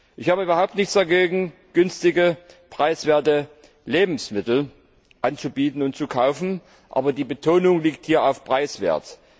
Ich habe überhaupt nichts dagegen, günstige, preiswerte Lebensmittel anzubieten und zu kaufen, aber die Betonung liegt hier auf preiswert.